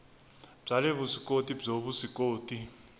bya le vuswikoti byo vuswikoti